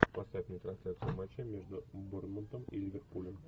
поставь мне трансляцию матча между борнмутом и ливерпулем